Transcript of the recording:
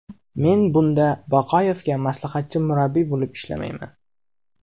Men bunda Baqoyevga maslahatchi murabbiy bo‘lib ishlamayman.